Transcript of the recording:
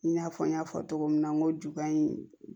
I n'a fɔ n y'a fɔ cogo min na n ko juba in